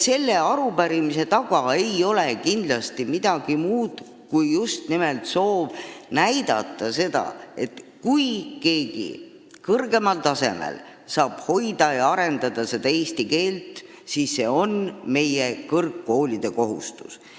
Selle arupärimise taga ei ole kindlasti midagi muud kui just nimelt soov näidata seda, et kui keegi saab kõrgemal tasemel hoida ja arendada eesti keelt, siis on see meie kõrgkoolide kohustus.